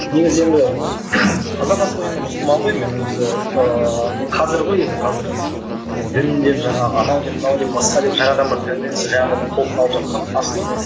негізі енді қазақ асылы енді мұсылман ғой мен өзі ііі қазір ғой енді қазір дін деп жаңағы анау деп мынау деп басқа деп жаңадан бір конвенция жаңадан бір толқын алып жатқаны асылы